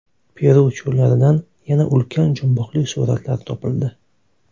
Peru cho‘llaridan yana ulkan jumboqli suratlar topildi .